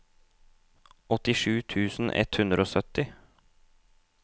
åttisju tusen ett hundre og sytti